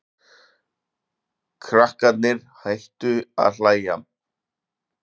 Krakkarnir hættu að hlæja.